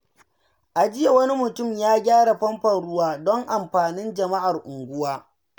A jiya, wani mutum ya gyara famfon ruwa don amfanin jama’ar unguwa.